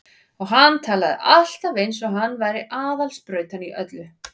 Og hann talaði alltaf eins og hann væri aðal sprautan í öllu.